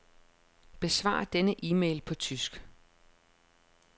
Besvar denne e-mail på tysk.